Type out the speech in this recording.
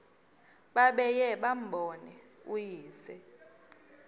babuye bambone uyise